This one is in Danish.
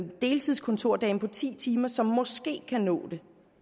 deltids kontordame på ti timer som måske kan nå det